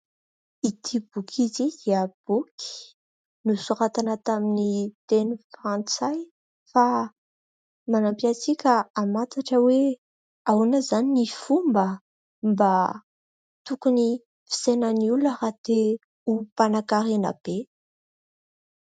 Ity boky izy dia boky nosoratana tamin'ny teny frantsay fa manampy antsika hamantatra hoe ahoana izany ny fomba mba tokony fisainan'ny olona raha te ho mpanan-karena be ?